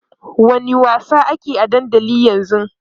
wani wasa akeyi a dandali ƴan zun?